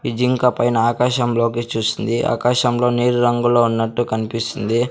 ఈ జింక పైన ఆకాశంలోకి చూస్తుంది ఆకాశంలో నీలి రంగులో ఉన్నట్టు కన్పిస్తుంది.